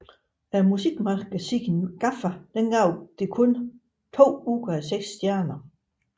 Musikmagasinet GAFFA gav det kun to ud af seks stjerner